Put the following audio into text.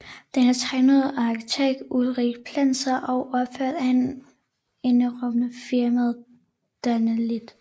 Den er tegnet af arkitekt Ulrik Plesner og opført af entreprenørfirmaet Danalith